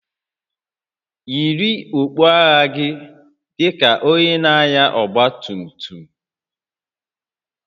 Yiri okpu agha gị dị ka onye na-anya ọgba tum tum!